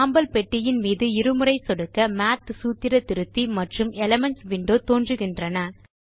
சாம்பல் பெட்டியின் மீது இரு முறை சொடுக்க மாத் சூத்திர திருத்தி மற்றும் எலிமென்ட்ஸ் விண்டோ தோன்றுகின்றன